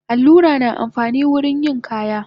Allura na amfani wurin yin kaya